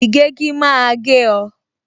Ìgégi máa gé o